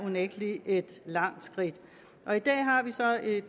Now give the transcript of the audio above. unægtelig et langt skridt